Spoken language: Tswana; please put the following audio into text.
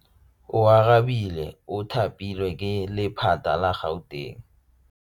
Oarabile o thapilwe ke lephata la Gauteng.